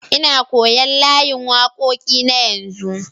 Nna koyon layin wakoki na yanzu.